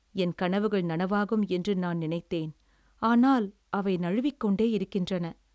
"என் கனவுகள் நனவாகும் என்று நான் நினைத்தேன், ஆனால் அவை நழுவிக்கொண்டே இருக்கின்றன."